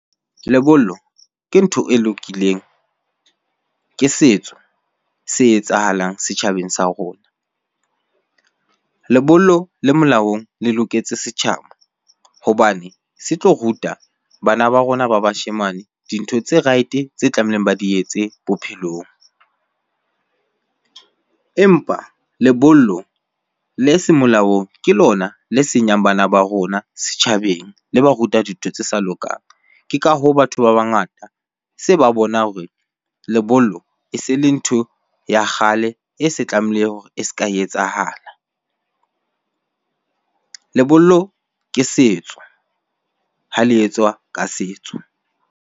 Lebollo ke ntho e lokileng, ke setso se etsahalang setjhabeng sa rona. Lebollo le molaong le loketse setjhaba hobane se tlo ruta bana ba rona ba bashemane dintho tse right-e, tse tlamehileng ba di etse bophelong. Empa lebollo le se molaong ke lona le senyang bana ba rona setjhabeng, le ba ruta dintho tse sa lokang. Ke ka hoo, batho ba bangata se ba bona hore lebollo e se le ntho ya kgale e se tlamehile hore e se ka etsahala Lebollo ke setso, ha le etswa ka setso.